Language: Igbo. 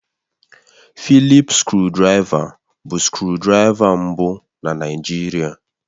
Fịlịp skrụdiraiva bụ skrụdiraiva mbụ na Naịjirịa